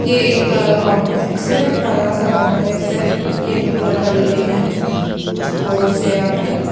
ये एक कॉम्प्लेक्स है बड़ा सा कॉम्प्लेक्स है येलो कलर का बिल्डिंग है कुछ फ्लोर्स है यहां पर--